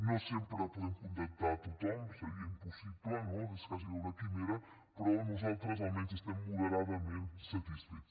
no sempre podem acontentar tothom seria impossible no és gairebé una quimera però nosaltres almenys estem moderadament satisfets